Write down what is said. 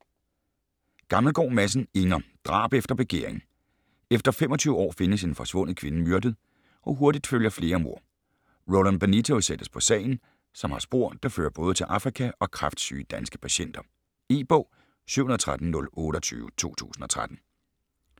Gammelgaard Madsen, Inger: Drab efter begæring Efter 25 år findes en forsvundet kvinde myrdet, og hurtigt følger flere mord. Roland Benito sættes på sagen, som har spor, der fører både til Afrika og kræftsyge danske patienter. E-bog 713028 2013.